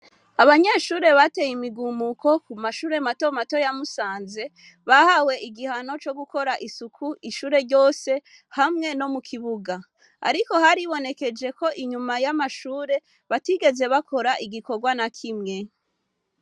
Abanyeshure bateye imigumuko kumashure mato mato ya Musanze bahawe igihano co gukora isuku ishure ryose hamwe no mukibuga ariko haribonekeje ko inyuma yamashure batigeze bakora igikorwa nakimwe.